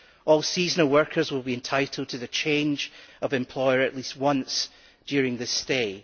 All seasonal workers will be entitled to a change of employer at least once during their stay.